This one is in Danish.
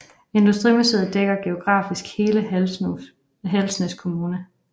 Industrimuseet dækker geografisk hele Halsnæs Kommune